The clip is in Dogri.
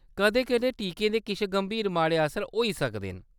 कदें-कदें टीके दे किश गंभीर माड़े असर होई सकदे न।